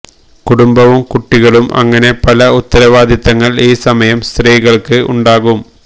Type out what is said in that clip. കുടുംബവും കുട്ടികളും അങ്ങനെ പല ഉത്തരവാദിത്തങ്ങള് ഈ സമയം സ്ത്രീകള്ക്ക് ഉണ്ടാകും